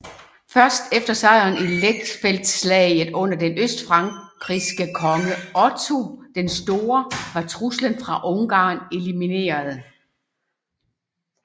Først efter sejren i Lechfeldslaget under den østfrankiske konge Otto den Store var truslen fra Ungarn elimineret